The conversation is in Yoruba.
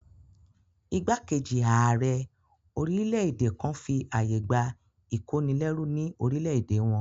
Ìgbákejì ààrẹ orílẹ̀-èdè kan fi àyè gbà ìkónilẹ́rú ní orílẹ̀-èdè wọn